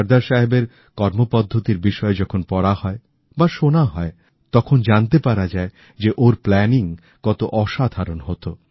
সর্দার সাহেবেরকর্মপদ্ধতির বিষয়ে যখন পড়া হয় বা শোনা হয় তখন জানতে পারা যায় যে ওঁরপ্ল্যানিং কত অসাধারণ হত